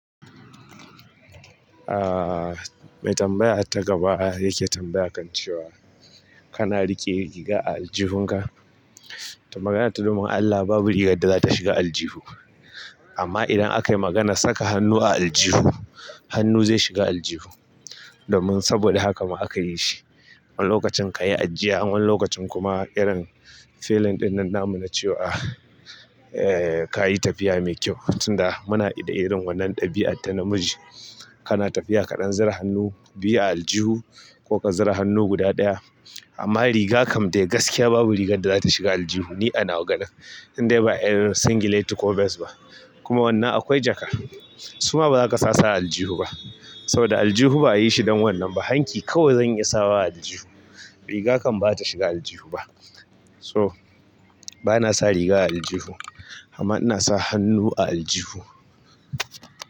Ah mai tambaya ta gaba yake tambaya kan cewa kana riƙe riga a aljihunka. Magana ta domin Allah babu wata rigar da zata shiga aljihu amma idan akayi maganar saka hannu a aljihu, hannu zai shiga aljihu. Domin saboda haka ma aka yi shi. Wani lokacin kayi ajjiya, wani lokacin kuma irin feeling ɗinnan namuna cewa eh kayi tafiya mai kyau tunda muna da irin wannan ɗabi'a ta namiji. Kana tafiya kaɗan zura hannu biya aljihu ko ka zara hannu guda ɗaya. Amma riga kam dai gaskiya babu rigar da zata shiga aljihu ni anawa ganin. Indai ba irin singileti ko bes ba. Kuma wannan akwai jaka, suma bazaka sasu a aljihu ba saboda aljihu ba ayi shi don wannan ba. Hanki kawai zan iya sawa aljihu. Riga kam bata shiga aljihu ba. So bana sa riga a aljihu amma ina sa hannu a aljihu.